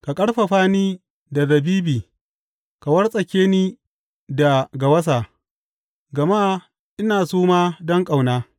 Ka ƙarfafa ni da zabibi ka wartsake ni da gawasa, gama ina suma don ƙauna.